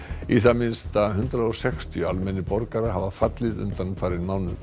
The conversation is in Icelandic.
í það minnsta hundrað og sextíu almennir borgarar hafa fallið undanfarinn mánuð